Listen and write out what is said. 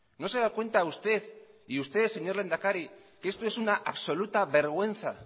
no se da cuenta usted y usted señor lehendakari que esto es una absoluta vergüenza